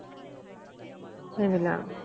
সেইবিলাক